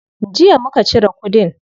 Jiya muka cire kudin.